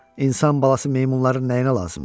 İnsan balası meymunların nəyinə lazımdır?